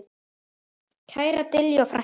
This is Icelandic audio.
Kæra Diljá frænka.